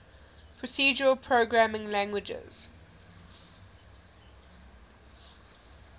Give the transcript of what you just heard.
procedural programming languages